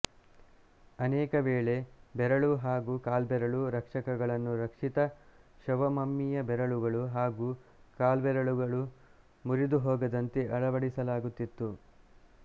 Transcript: ಅನೇಕವೇಳೆ ಬೆರಳು ಹಾಗೂ ಕಾಲ್ಬೆರಳು ರಕ್ಷಕಗಳನ್ನು ರಕ್ಷಿತ ಶವಮಮ್ಮಿಯ ಬೆರಳುಗಳು ಹಾಗೂ ಕಾಲ್ವೆರಳುಗಳು ಮುರಿದುಹೋಗದಂತೆ ಅಳವಡಿಸಲಾಗುತ್ತಿತ್ತು